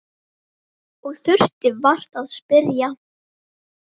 Og þurfti vart að spyrja.